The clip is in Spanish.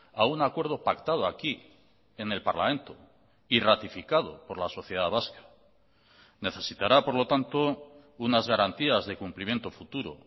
a un acuerdo pactado aquí en el parlamento y ratificado por la sociedad vasca necesitará por lo tanto unas garantías de cumplimiento futuro